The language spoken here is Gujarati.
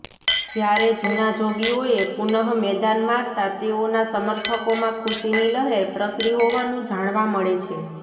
જયારે જુના જોગીઓએ પુનઃ મેદાન મારતા તેઓના સમર્થકોમાં ખુશીની લહેર પ્રસરી હોવાનું જાણવા મળે છે